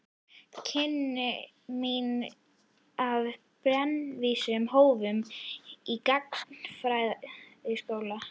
Kynni mín af brennivíni hófust í gagnfræðaskóla.